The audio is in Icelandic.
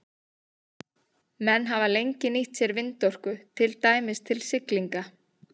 Menn hafa lengi nýtt sér vindorku, til dæmis til siglinga.